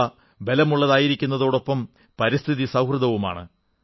അവ ബലമുള്ളതായിരിക്കുന്നതോടൊപ്പം പരിസ്ഥിതി സൌഹൃദവുമാണ്